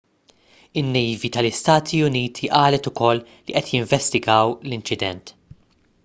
in-nejvi tal-istati uniti qalet ukoll li qed jinvestigaw l-inċident